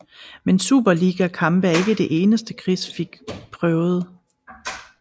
Men superliga kampe er ikke det eneste Chris fik prøvede